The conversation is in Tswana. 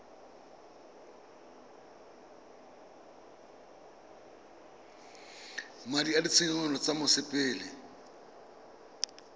madi a ditshenyegelo tsa mosepele